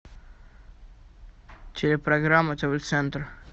телепрограмма тв центр